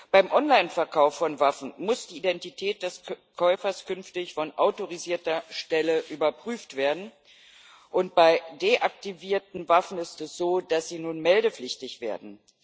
Beim Online Verkauf von Waffen muss die Identität des Käufers künftig von autorisierter Stelle überprüft werden, und bei deaktivierten Waffen ist es so, dass sie nun meldepflichtig werden.